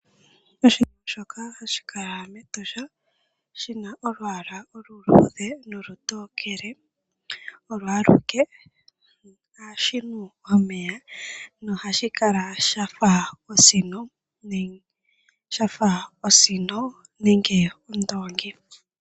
Oshinamwenyo shoka hashi kala mEtosha shi na olwaala oluluudhe nolutokele olo aluke nohashi nu omeya nohashi kala sha fa osino nenge ondoongi.